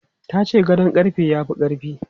Ta ce gadon ƙarfe ya fi ƙarfi.